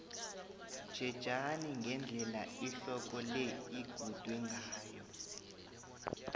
tjhejani ngendlela ihloko le igudwe ngayo